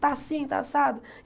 Está assim, está assado?